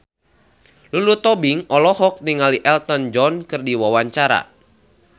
Lulu Tobing olohok ningali Elton John keur diwawancara